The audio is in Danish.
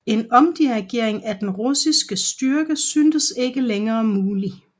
En omringning af denne russiske styrke syntes ikke længere mulig